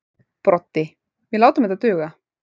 Broddi: Við látum þetta duga.